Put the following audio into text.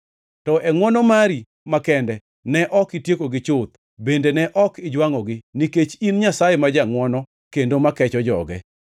To e ngʼwono mari makende ne ok itiekogi chuth bende ne ok ijwangʼogi, nikech in Nyasaye ma jangʼwono kendo makecho joge.